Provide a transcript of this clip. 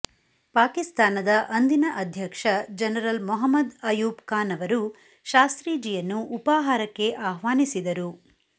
ಪಾಕಿಸ್ತಾನದ ಅಂದಿನ ಅಧ್ಯಕ್ಷ ಜನರಲ್ ಮೊಹಮ್ಮದ್ ಅಯೂಬ್ ಖಾನ್ ಅವರು ಶಾಸ್ತ್ರೀಜಿಯನ್ನು ಉಪಾಹಾರಕ್ಕೆ ಆಹ್ವಾನಿಸಿದರು